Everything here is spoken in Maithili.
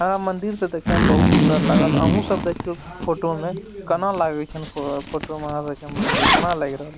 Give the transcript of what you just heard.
आ मंदिर ते देखे में बहुत सुन्दर लागल अहु सब देखियो फोटो में कना लागे छै फोटो मे लागे छै मंदिर कना लाएग--